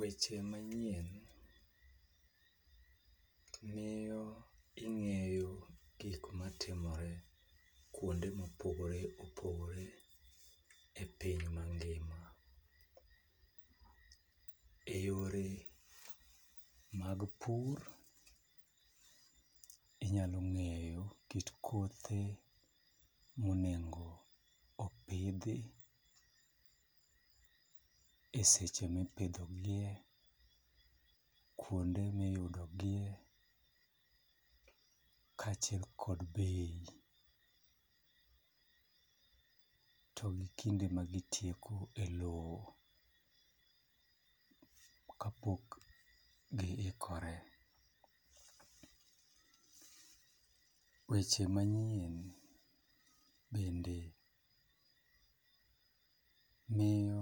Weche manyien miyo ing'eyo gigo matimore kuonde mopogore opogore e piny mangima. Eyore mag pur, inyalo ng'eyo git kothe monego opidhi eseche mipidho gie, kuonde miyudo gie kaachiel kod bei to gi kinde ma gitieko e lowo kapok giikore . Weche manyien bende miyo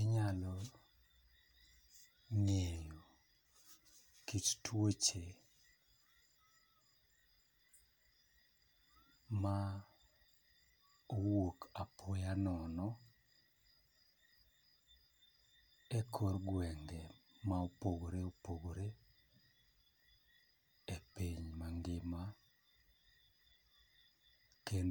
inyalo ng'ayo kit tuoche ma wuok apoya nono e kor gwenge ma opogore opogore e piny mangima kendo